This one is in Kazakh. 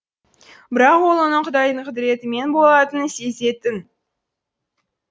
бірақ ол оның құдайдың құдіретімен болатынын сезетін